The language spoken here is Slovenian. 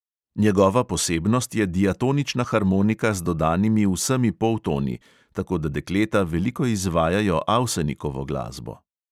Njegova posebnost je diatonična harmonika z dodanimi vsemi poltoni, tako da dekleta veliko izvajajo avsenikovo glasbo.